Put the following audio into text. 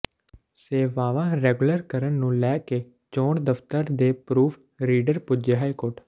ਸੇਵਾਵਾਂ ਰੈਗੂਲਰ ਕਰਨ ਨੂੰ ਲੈ ਕੇ ਚੋਣ ਦਫ਼ਤਰ ਦੇ ਪਰੂਫ਼ ਰੀਡਰ ਪੁੱਜੇ ਹਾਈਕੋਰਟ